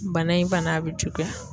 Bana in fana a bi juguya